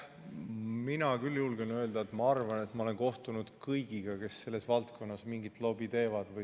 Mina küll julgen öelda, et ma olen enda arvates kohtunud kõigiga, kes selles valdkonnas mingit lobi teevad.